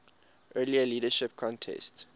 earlier leadership contest